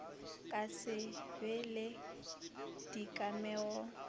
ka se be le dikamego